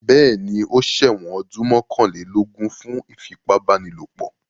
Bẹ́ẹ̀ní, ó ṣẹ̀wọ̀n ọdún mọ́kànlélógún fún ìfipábánilòpọ̀.